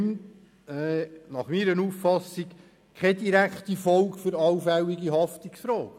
Nach meiner Auffassung hat das keine direkte Folge für allfällige Haftungsfragen.